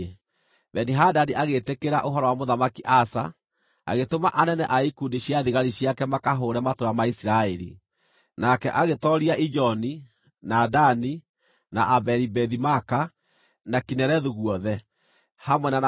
Beni-Hadadi agĩĩtĩkĩra ũhoro wa Mũthamaki Asa, agĩtũma anene a ikundi cia thigari ciake makahũũre matũũra ma Isiraeli. Nake agĩtooria Ijoni, na Dani, na Abeli-Bethi-Maaka, na Kinerethu guothe, hamwe na Nafitali.